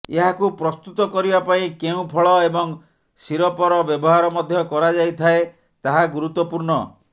ଏହାକୁ ପ୍ରସ୍ତୁତ କରିବା ପାଇଁ କେଉଁ ଫଳ ଏବଂ ସିରପର ବ୍ୟବହାର ମଧ୍ୟ କରାଯାଇଥାଏ ତାହା ଗୁରୁତ୍ୱପୁର୍ଣ୍ଣ